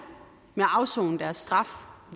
afsone deres straf